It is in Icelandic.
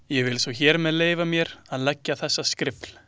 Ég vil svo hér með leyfa mér að leggja þessa skrifl.